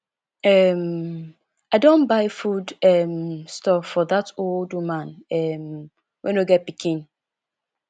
um i don buy food um stuff for dat old woman um wey no get pikin